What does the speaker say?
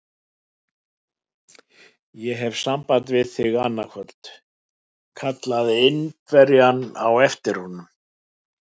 Ég hef samband við þig annað kvöld! kallaði Indverjinn á eftir honum.